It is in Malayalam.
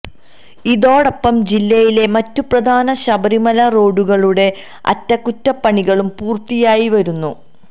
ഇതോടൊപ്പം ജില്ലയിലെ മറ്റ് പ്രധാന ശബരിമല റോഡുകളുടെ അറ്റകുറ്റപ്പണികളും പൂര്ത്തിയായി വരുന്നു